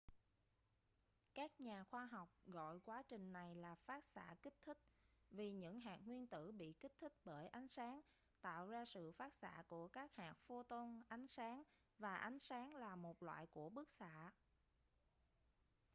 các nhà khoa học gọi quá trình này là phát xạ kích thích vì những hạt nguyên tử bị kích thích bởi ánh sáng tạo ra sự phát xạ của các hạt photon ánh sáng và ánh sáng là một loại của bức xạ